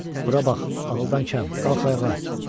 Bura bax, aldan kəm, qalx ayağa.